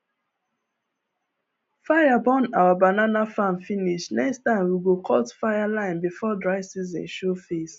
fire burn our banana farm finish next time we go cut fireline before dry season show face